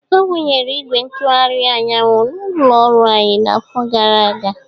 Awụnyere igwe ntụgharị anyanwụ n'ụlọ ọrụ anyị n'afọ gara aga